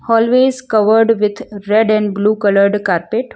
Always covered with red and blue coloured carpet.